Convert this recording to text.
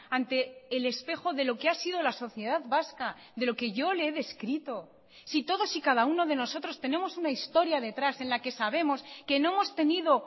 ante el espejo de lo que ha sido la sociedad vasca de lo que yo le he descrito si todos y cada uno de nosotros tenemos una historia detrás en la que sabemos que no hemos tenido